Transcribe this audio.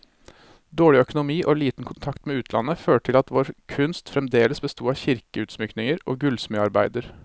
Dårlig økonomi og liten kontakt med utlandet, førte til at vår kunst fremdeles besto av kirkeutsmykninger og gullsmedarbeider.